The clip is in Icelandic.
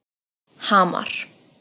Hamar